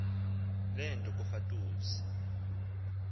le nto kufatuse